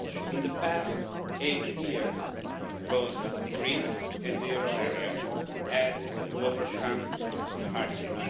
In the past eight years, both Greece and the euro area had to overcome hardship.